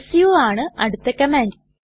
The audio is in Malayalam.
സു ആണ് അടുത്ത കമാൻഡ്